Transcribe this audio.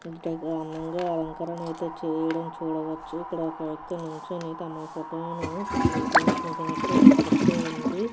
ఇంత ఘనంగా అలంకరణ అయితే చేయడం చూడవచ్చు. ఇక్కడ ఒక వ్యక్తి నించొని తమ ఫోటో ను చిత్రీకరించినట్టు తెలుస్తుంది.